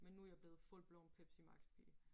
Men nu jeg blevet full blown Pepsi Max pige